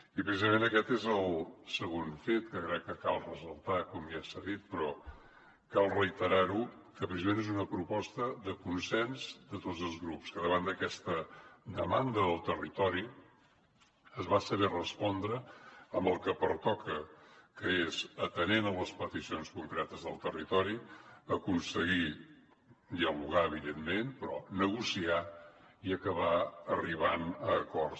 i precisament aquest és el segon fet que crec que cal ressaltar com ja s’ha dit però cal reiterar ho que és una proposta de consens de tots els grups que davant d’aquesta demanda del territori es va saber respondre amb el que pertoca que és atenent les peticions concretes del territori aconseguir dialogar evidentment però negociar i acabar arribant a acords